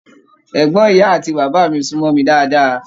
Ẹgbọn ìyá àti bàbá mí sunmọ mí dáadáa.